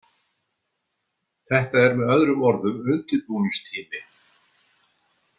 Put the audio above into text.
Þetta er með öðrum orðum undirbúningstími.